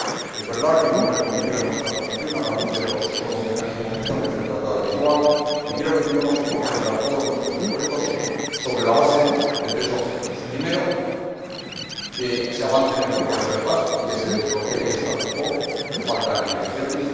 Es verdad que hemos reconducido nuestra posición a la luz de los nuevos mecanismos que establece el Tratado de Lisboa, y creo que tenemos que concentrar todos nuestros esfuerzos sobre la base de tres objetivos que se avance en el proceso de paz y que se desbloquee el statu quo de falta de negociaciones